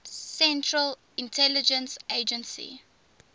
central intelligence agency